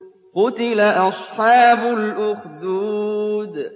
قُتِلَ أَصْحَابُ الْأُخْدُودِ